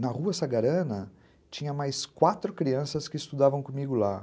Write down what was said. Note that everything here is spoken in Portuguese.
Na Rua Sagarana tinha mais quatro crianças que estudavam comigo lá.